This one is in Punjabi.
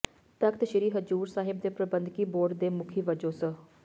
ਤਖ਼ਤ ਸ਼੍ਰੀ ਹਜ਼ੂਰ ਸਾਹਿਬ ਦੇ ਪ੍ਰਬੰਧਕੀ ਬੋਰਡ ਦੇ ਮੁਖੀ ਵਜੋਂ ਸ